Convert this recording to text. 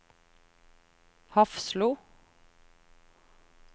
Hafslo